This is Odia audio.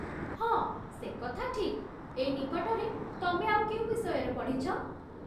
ହଁ, ସେକଥା ଠିକ୍, ଏଇ ନିକଟରେ ତମେ ଆଉ କେଉଁ ବିଷୟରେ ପଢ଼ିଛ?